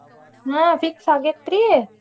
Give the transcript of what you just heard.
ಹಾ fix ಆಗೇತ್ರೀ.